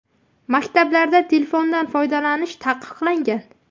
Maktablarda telefondan foydalanish taqiqlangan.